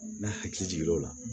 N'a hakili jigin l'o la